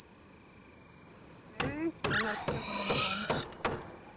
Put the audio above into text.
এই চলে যাচ্ছে কোন রকম